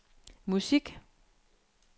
musik